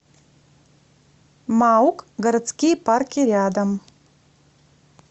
маук городские парки рядом